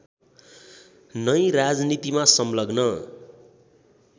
नै राजनीतिमा संलग्न